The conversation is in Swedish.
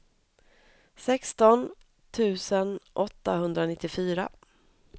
sexton tusen åttahundranittiofyra